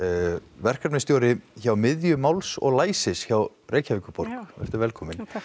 verkefnastjóri hjá miðju máls og læsis hjá Reykjavíkurborg vertu velkomin takk